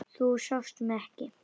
Þú sást mig ekki.